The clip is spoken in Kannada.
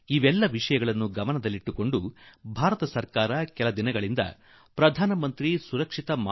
ಈ ಸಂಗತಿಗಳನ್ನು ಗಮನಿಸಿ ಭಾರತ ಸರ್ಕಾರ ಕೆಲವು ತಿಂಗಳಿಂದ ಒಂದು ಹೊಸ ಆಂದೋಲನ ಶುರು ಮಾಡಿದೆ